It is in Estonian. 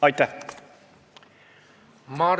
Aitäh!